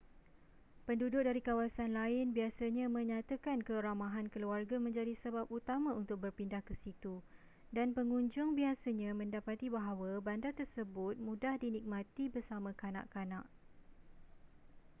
penduduk dari kawasan lain biasanya menyatakan keramahan keluarga menjadi sebab utama untuk berpindah ke situ dan pengunjung biasanya mendapati bahawa bandar tersebut mudah dinikmati bersama kanak-kanak